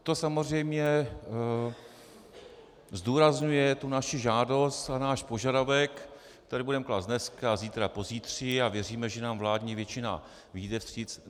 To samozřejmě zdůrazňuje tu naši žádost a náš požadavek, který budeme klást dneska, zítra, pozítří, a věříme, že nám vládní většina vyjde vstříc.